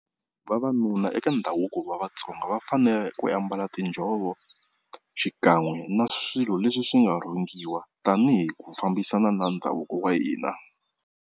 Vavanuna eka ndhavuko wa Vatsonga va fanele ku ambala tinjhovo xikan'we na swilo leswi swi nga rhungiwa tani hi ku fambisana na ndhavuko wa hina.